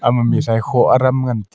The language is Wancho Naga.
ama mithai ho ram ngan te.